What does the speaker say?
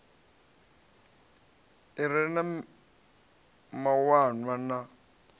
i re na mawanwa na